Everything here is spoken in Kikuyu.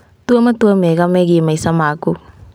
Tua matua mega megiĩ maica maku.